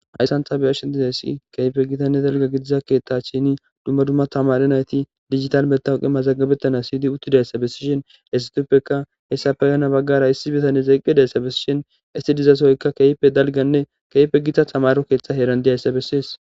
Hayssantha beashiessi keyfe gitanne dalga gidiza keeththa chini dumma dumma tamare nayti digital metawuqe mazaggabettana siydi uttidayssa bessishin esituppeka hessa feyana baggara issi bitane zeqqi dayssa bessishin isti dizasoykka keype dalganne kefe gita tamaro keeththe heeran dizayssa bessies.